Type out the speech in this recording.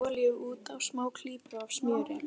Settu olíu út á og smá klípu af smjöri.